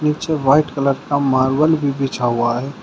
नीचे white colour का marble भी बिछा हुआ है।